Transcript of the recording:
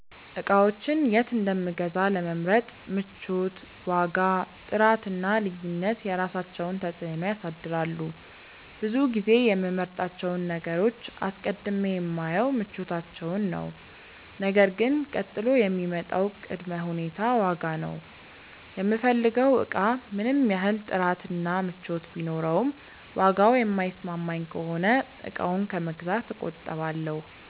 እቃዎችን የት እንደምገዛ ለመምረጥ ምቾት፣ ዋጋ፣ ጥራት እና ልዩነት የራሳቸውን ተፅዕኖ ያሳድራሉ። ብዙ ጊዜ የምመርጣቸውን ነገሮች አስቀድሜ የማየው ምቾታቸውን ነው ነገር ግን ቀጥሎ የሚመጣው ቅድመ ሁኔታ ዋጋ ነው። የምፈልገው እቃ ምንም ያህል ጥራት እና ምቾት ቢኖረውም ዋጋው የማይስማማኝ ከሆነ እቃውን ከመግዛት እቆጠባለሁ።